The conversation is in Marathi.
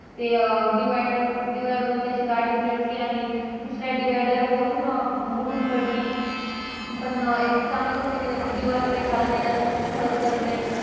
ते अं divider वरून त्याची गाडी उलटली आणि दुसऱ्या divider वरून उडून पडली पण अं एक चांगली गोष्ट ये कि त्याच्या जीवाला काही झालं नाही जास्त फक्त खरचटलं.